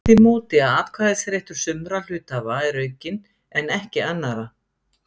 orðið með því móti að atkvæðisréttur sumra hluthafa er aukinn en ekki annarra.